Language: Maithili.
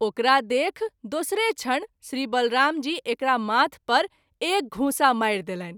ओकरा देखि दोसरे क्षण श्री बलराम जी एकरा माथ पर एक घूँसा मारि देलनि।